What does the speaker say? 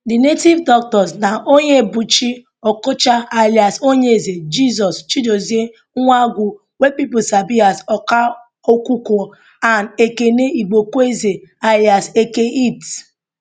di native doctors na onyebuchi okocha alias onyeze jesus chidozie nwangwu wey pipo sabi as akwa okuko and ekene igboekweze alias eke hit